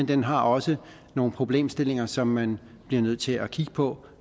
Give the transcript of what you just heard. den har også nogle problemstillinger som man bliver nødt til at kigge på